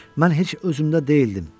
Mən heç özümdə deyildim.